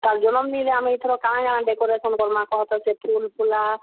ତାର୍ ଜନମ୍ ଦିନେ ଆମେ ଇଥର କାଣା କାଣା decoration କର୍ ମା କହତ, ସେ ଫୁଲ୍ ଫୁଲା।